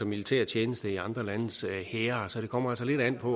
militærtjeneste i andre landes hære så det kommer lidt an på